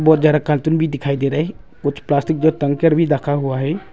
बहुत जरा कार्टून भी दिखाई दे रहा है कुछ प्लास्टिक जो टांगकर भी रखा हुआ है।